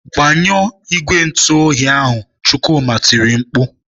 "Gbanyụọ igwe ntụoyi ahụ!" Chukwuma tiri mkpu.